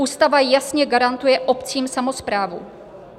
Ústava jasně garantuje obcím samosprávu.